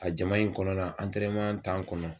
A jama in kɔnɔna antɛrɛneman tan kɔnɔ